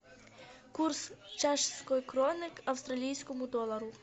курс чешской кроны к австралийскому доллару